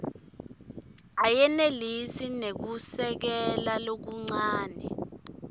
ayenelisi kunekusekela lokuncane